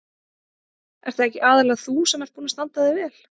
Ert það ekki aðallega þú sem ert búin að standa þig vel?